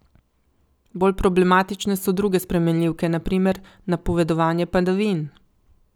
Bolj problematične so druge spremenljivke, na primer napovedovanje padavin.